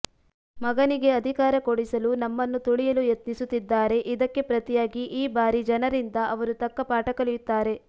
ಮಗನಿಗೆ ಅಧಿಕಾರ ಕೊಡಿಸಲು ನಮ್ಮನ್ನು ತುಳಿಯಲು ಯತ್ನಿಸುತ್ತಿದ್ದಾರೆ ಇದಕ್ಕೆ ಪ್ರತಿಯಾಗಿ ಈ ಬಾರಿ ಜನರಿಂದ ಅವರು ತಕ್ಕ ಪಾಠ ಕಲಿಯುತ್ತಾರೆ